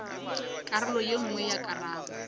karolo ye nngwe ya karabo